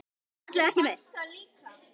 Alla vega ekki meir.